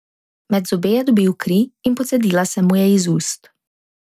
Med zobe je dobil kri in pocedila se mu je iz ust.